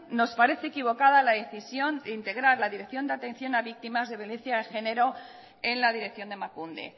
nos parece equivocada la decisión de integrar la dirección de atención a víctimas de violencia de género en la dirección de emakunde